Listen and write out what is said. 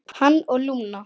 Hann og Lúna.